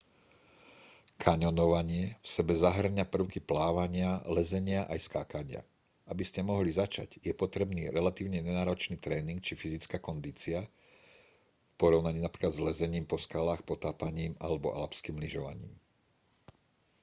kaňonovanie v sebe zahŕňa prvky plávania lezenia aj skákania - aby ste mohli začať je potrebný relatívne nenáročný tréning či fyzická kondícia v porovnaní napríklad s lezením po skalách potápaním alebo alpským lyžovaním